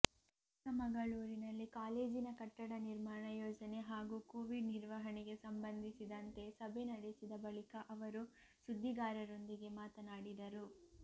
ಚಿಕ್ಕಮಗಳೂರಿನಲ್ಲಿ ಕಾಲೇಜಿನ ಕಟ್ಟಡ ನಿರ್ಮಾಣ ಯೋಜನೆ ಹಾಗೂ ಕೋವಿಡ್ ನಿರ್ವಹಣೆಗೆ ಸಂಬಂಧಿಸಿದಂತೆ ಸಭೆ ನಡೆಸಿದ ಬಳಿಕ ಅವರು ಸುದ್ದಿಗಾರರೊಂದಿಗೆ ಮಾತನಾಡಿದರು